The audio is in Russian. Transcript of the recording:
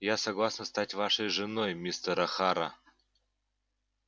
я согласна стать вашей женой мистер охара